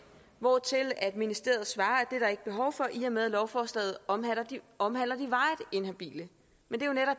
hvortil ministeriet svarer at er ikke behov for i og med at lovforslaget omhandler de varigt inhabile men